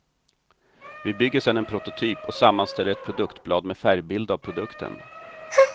Vi bygger sedan en prototyp och sammanställer ett produktblad med färgbild av produkten.